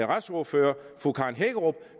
retsordfører fru karen hækkerup